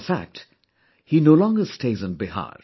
In fact, he no longer stays in Bihar